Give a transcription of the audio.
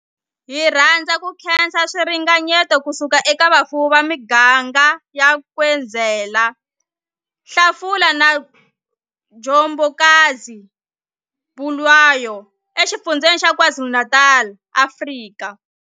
Hi rhandza ku khensa swiringanyeto ku suka eka vafuwi va miganga ya Nkwezela, Hlafuna na Njobokazi, Bulwer, eXifundzheni xa KwaZulu-Natal, Afrika.